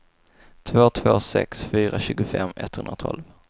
två två sex fyra tjugofem etthundratolv